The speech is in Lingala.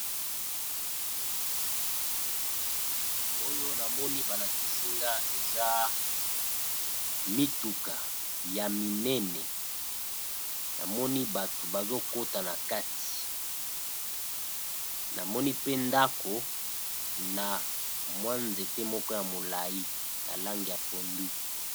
Oyo namoni ba lakisi nga eza mituka ya minene, namoni bato bazo kota na kati namoni pe ndako na mwa nzete moko ya molayi na langi ya pondu.